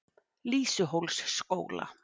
Lýsuhólsskóla